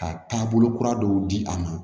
Ka taabolo kura dɔw di a ma